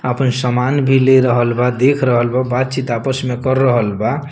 आपन समान भी ले रहल बा देख रहल बा बात-चित आपस में कर रहल बा।